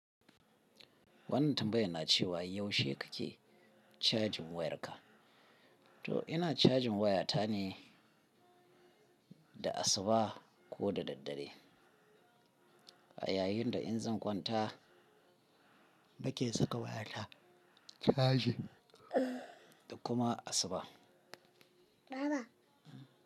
Wannan tambaya na cewa yaushe kake charging wayarka? To ina charging waya ta ne da asuba ko da daddare. A yayinda in zan kwanta nake saka waya ta chargi da kuma asuba. Baba.